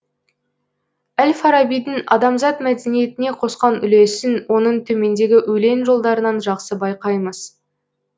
әл фарабидің адамзат мәдениетіне қосқан үлесін оның төмендегі өлең жолдарынан жақсы байқаймыз